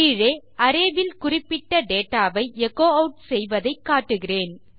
கீழே அரே இல் குறிப்பிட்ட டேட்டா வை எச்சோ ஆட் செய்வதை காட்டுகிறேன்